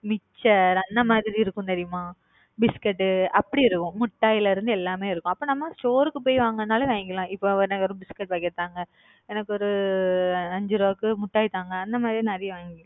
Mixer அந்த மாதிரி இருக்கும் தெரியுமா biscuit உ அப்படி இருக்கும். மிட்டாய்ல இருந்து, எல்லாமே இருக்கும் அப்ப நம்ப store க்கு போய் வாங்குணுனாலும் வாங்கிக்கலாம் இப்ப நா வெறும் biscuit packet தாங்க. எனக்கொரு அஞ்சு ரூபாய்க்கு மிட்டாய் தாங்க. அந்த மாறி நிறைய வாங்கி